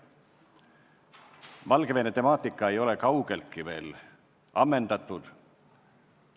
Valgevene temaatika ei ole kaugeltki ammendunud.